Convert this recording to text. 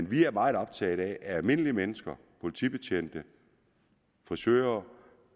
vi er meget optaget af at almindelige mennesker politibetjente frisører